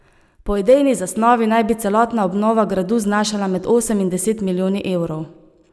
Po idejni zasnovi naj bi celotna obnova gradu znašala med osem in deset milijoni evrov.